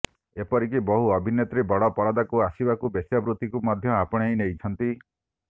ଏପରିକି ବହୁ ଅଭିନେତ୍ରୀ ବଡ଼ ପରଦାକୁ ଆସିବାକୁ ବେଶ୍ୟାବୃତ୍ତିକୁ ମଧ୍ୟ ଆପଣେଇ ନେଇଛନ୍ତି